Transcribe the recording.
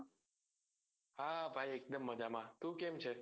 હા ભાઈ એક દમ મજામાં તું કેમ છે